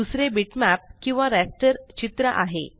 दुसरे बिटमॅप किंवा रास्टर चित्र आहे